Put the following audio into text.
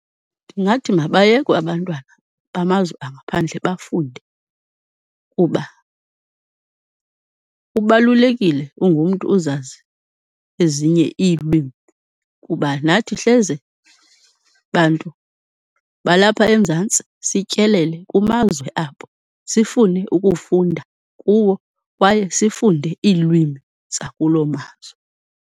Ndingathi mabayekwe abantwana bamazwe angaphandle bafunde kuba kubalulekile ungumntu uzazi ezinye iilwimi kuba nathi hleze bantu balapha eMzantsi sityelele kumazwe abo sifune ukufunda kuwo, kwaye sifunde iilwimi zakuloo mazwe.